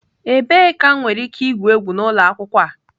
Ebee ka m nwere ike igwu egwu n'ụlọ akwụkwọ a?